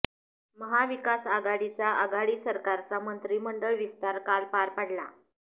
महाविकास आघाडीचा आघाडी सरकारचा मंत्रिमंडळ विस्तार काल पार पडला